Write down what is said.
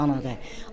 Hamı atadır, anadır.